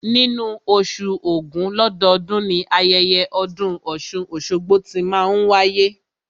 Nínú oṣù ògún lọ́dọọ́dun, ni ayẹyẹ ọdún ọ̀ṣun-oṣogbo tí máa n wáyé